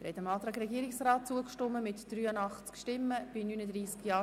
Abstimmung (Art. 181 Abs. 2; Antrag